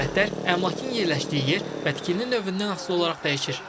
Qiymətlər əmlakın yerləşdiyi yer və tikili növündən asılı olaraq dəyişir.